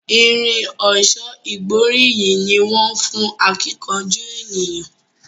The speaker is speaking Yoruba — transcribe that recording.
Irin ọ̀ṣọ́ ìgbóríyìn ní wón fún akíkanjú ènìyàn.